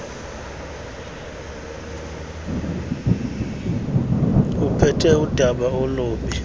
uphethe udaba olubi